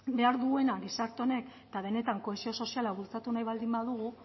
behar duena gizarte honek eta denetan kohesio soziala bultzatu nahi baldin badugu